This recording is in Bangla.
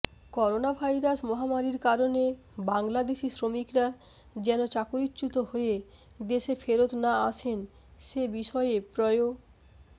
করোনাভাইরাস মহামারির কারণে বাংলাদেশি শ্রমিকরা যেন চাকরিচ্যুত হয়ে দেশে ফেরত না আসেন সে বিষয়ে প্রয়ো